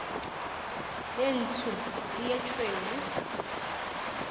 ye ntsho le ye tšhweu